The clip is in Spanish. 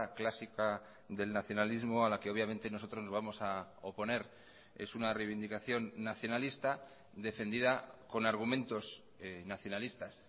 clásica del nacionalismo a la que obviamente nosotros vamos a oponer es una reivindicación nacionalista defendida con argumentos nacionalistas